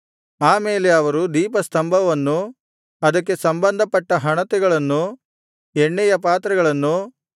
ಆ ಮೇಲೆ ಅವರು ದೀಪಸ್ತಂಭವನ್ನೂ ಅದಕ್ಕೆ ಸಂಬಂಧಪಟ್ಟ ಹಣತೆಗಳನ್ನೂ ಎಣ್ಣೆಯ ಪಾತ್ರೆಗಳನ್ನೂ